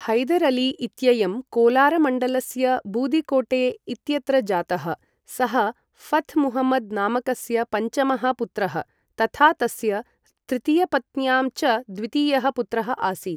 हैदर् अली इत्ययं कोलारमण्डलस्य बूदिकोटे इत्यत्र जातः, सः ऴथ् मुहम्मद् नामकस्य पञ्चमः पुत्रः, तथा तस्य तृतीयपत्न्यां च द्वितीयः पुत्रः आसीत्।